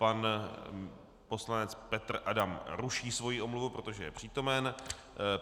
Pan poslanec Petr Adam ruší svoji omluvu, protože je přítomen.